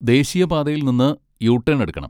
ദേശീയപാതയിൽ നിന്ന് U turn എടുക്കണം.